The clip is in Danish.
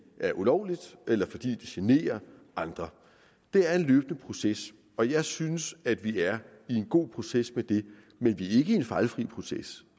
er ulovlige eller fordi de generer andre det er en løbende proces og jeg synes at vi er i en god proces med det men vi er ikke i en fejlfri proces